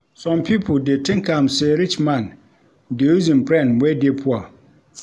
Some pipo dey tink am sey rich man dey use im friend wey dey poor.